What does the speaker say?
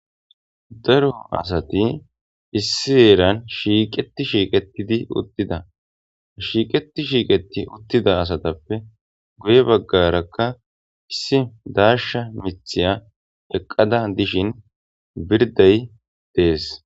daro asati issi eeran shiiqeti shiiqetidi uttida shiiqeti shiiqeti uttida asatappe guye baggarakka issi daarsha mithiya eqqada dishin birday dees